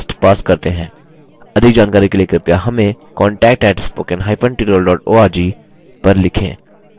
अधिक जानकारी के लिए कृपया हमें contact @spoken hyphen tutorial org पर लिखें